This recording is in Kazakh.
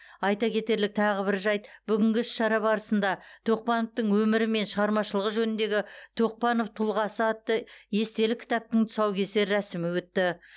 айта кетерлік тағы бір жайт бүгінгі іс шара барысында а тоқпановтың өмірі мен шығармашылығы жөніндегі тоқпанов тұлғасы атты естелік кітаптың тұсаукесер рәсімі өтті